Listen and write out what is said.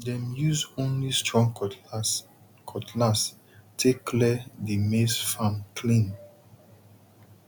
dem use only strong cutlass cutlass take clear the maize farm clean